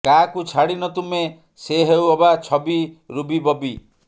କାହାକୁ ଛାଡ଼ିନ ତୁମେ ସେ ହେଉ ଅବା ଛବି ରୁବି ବବି